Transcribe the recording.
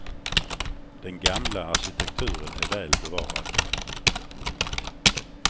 Den gamla arkitekturen är väl bevarad.